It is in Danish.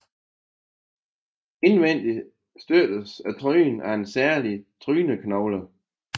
Indvendig støttes trynen af en særlig tryneknogle